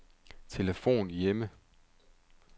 telefon hjemme